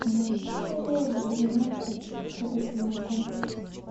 найди серия двенадцать трогательный комплекс